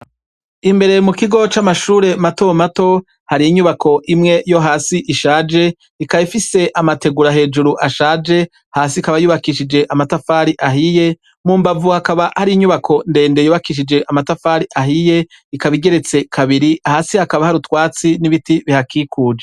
Imbere mu kigo c'amashure matomato har'inyubako imwe yo hasi ishaje, ikaba ifise amategura hejuru ashaje hasi ikaba yubakishijwe amatafari ahiye, mu mbavu hakaba har'inyubako ndende yubakishije amatafari ahiye ikaba igeretse kabiri, hasi hakaba har'utwatsi n'ibiti bihakikuje.